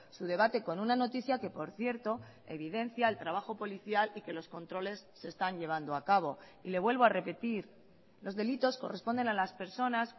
su debate con una noticia que por cierto evidencia el trabajo policial y que los controles se están llevando a cabo y le vuelvo a repetir los delitos corresponden a las personas